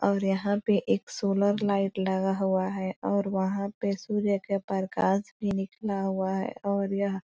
और यहां पे एक सोलर लाइट लगा हुआ है और वहां पे सूर्य के परकाश भी निकला हुआ है और यहां--